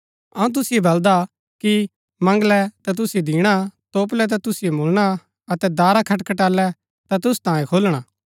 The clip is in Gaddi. अऊँ तुसिओ बलदा कि मंगलै ता तुसिओ दिणा तोपलै ता तुसिओ मुळणा अतै दारा खटखटालै ता तुसु तांयें खुलणा